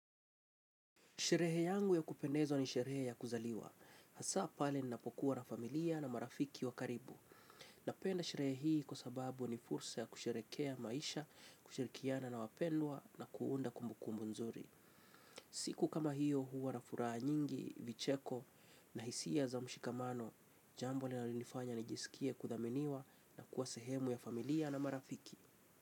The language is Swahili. Sherehe yangu ya kupendezwa ni sherehe ya kuzaliwa. Hasa pale ninapokuwa na familia na marafiki wakaribu. Napenda sherehe hii kwa sababu ni fursa ya kusherekea maisha, kushirikiana na wapendwa na kuunda kumbukumbu nzuri. Siku kama hiyo huwa na furaa nyingi, vicheko na hisia za mshikamano. Jambo lina lonifanya nijisikie kudhaminiwa na kuasehemu ya familia na marafiki.